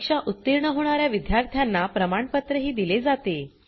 परीक्षा उतीर्ण होणा या विद्यार्थ्यांना प्रमाणपत्रही दिले जाते